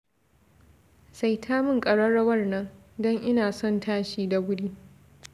Saita min ƙararrawar nan, don ina son tashi da wuri